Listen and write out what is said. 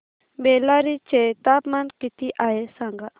बेल्लारी चे तापमान किती आहे सांगा